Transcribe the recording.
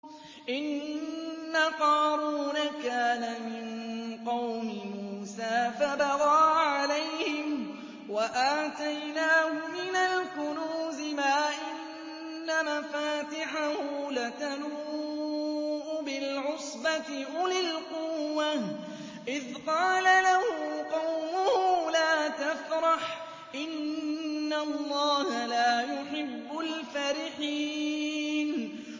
۞ إِنَّ قَارُونَ كَانَ مِن قَوْمِ مُوسَىٰ فَبَغَىٰ عَلَيْهِمْ ۖ وَآتَيْنَاهُ مِنَ الْكُنُوزِ مَا إِنَّ مَفَاتِحَهُ لَتَنُوءُ بِالْعُصْبَةِ أُولِي الْقُوَّةِ إِذْ قَالَ لَهُ قَوْمُهُ لَا تَفْرَحْ ۖ إِنَّ اللَّهَ لَا يُحِبُّ الْفَرِحِينَ